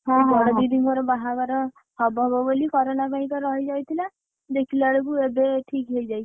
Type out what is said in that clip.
ହଁ ହଁ ହଁ, ମୋ ବଡ ଦିଦିଙ୍କର ବାହାଘର ହବ ହବ ବୋଲି କରୋନା ପାଇଁ ତ ରହିଯାଇଥିଲା ଦେଖିଲା ବେଳକୁ ଏବେ ଠିକ୍ ହେଇଯାଇଛି।